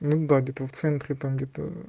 ну да где-то в центре